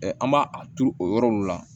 an b'a a turu o yɔrɔ ninnu la